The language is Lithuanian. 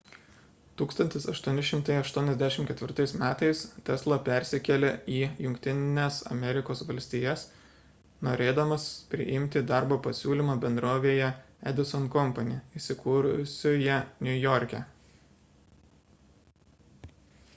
1884 m tesla persikėlė į jungtines amerikos valstijas norėdamas priimti darbo pasiūlymą bendrovėje edison company įsikūrusioje niujorke